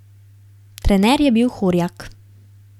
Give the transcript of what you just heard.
Trener je bil Horjak.